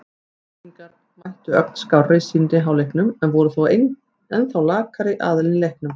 Keflvíkingar mættu ögn skárri í seinni hálfleikinn en voru þó ennþá lakari aðilinn í leiknum.